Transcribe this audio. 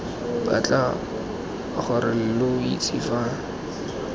batla gore lo itse fa